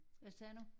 Hvad sagde du?